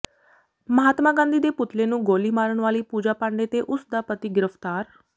ਮਹਾਤਮਾ ਗਾਂਧੀ ਦੇ ਪੁਤਲੇ ਨੂੰ ਗੋਲੀ ਮਾਰਨ ਵਾਲੀ ਪੂਜਾ ਪਾਂਡੇ ਤੇ ਉਸ ਦਾ ਪਤੀ ਗ੍ਰਿਫ਼ਤਾਰ